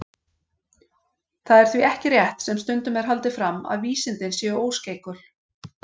Það er því ekki rétt, sem stundum er haldið fram, að vísindin séu óskeikul.